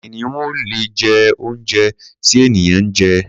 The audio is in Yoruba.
Kìnìún ò lè jẹ oúnjẹ tí ènìyàn ń jẹ.